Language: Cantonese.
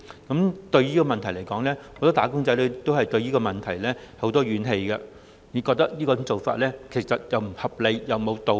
很多"打工仔女"對此存有很多怨氣，覺得這種做法既不合理亦無道理。